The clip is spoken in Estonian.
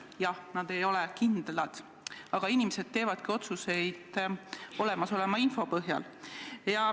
Jah, need ei ole kindlad, aga inimesed teevadki otsuseid olemasoleva info põhjal.